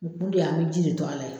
U kun de ye an bi ji de to a la ye.